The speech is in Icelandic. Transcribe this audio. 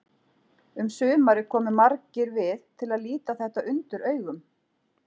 Um sumarið komu margir við til að líta þetta undur augum.